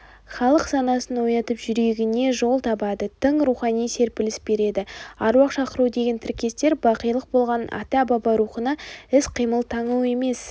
халық санасын оятып жүрегіне жол табады тың рухани серпіліс береді аруақ шақыру деген тіркестер бақилық болған ата-баба рухына іс-қимыл таңу емес